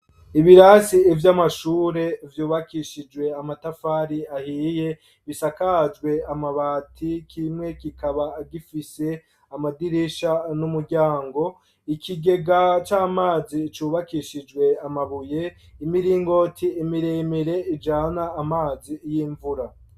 Ibirasi vy'amashure vyubakishijwe amatafari ahiye bisakajwe amabati kimwe kikaba gifise amadirisha n'umuryango ,ikigega c'amazi cubakishijwe amabuye ,imiringoti miremere ijana amazi y'imvura.